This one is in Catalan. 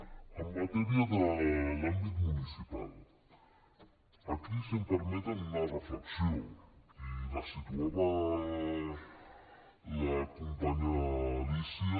en matèria de l’àmbit municipal aquí si em permeten una reflexió i la situava la companya alícia